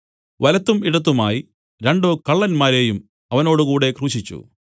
വലത്തും ഇടത്തുമായി രണ്ടു കള്ളന്മാരെയും അവനോട് കൂടെ ക്രൂശിച്ചു